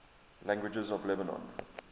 languages of lebanon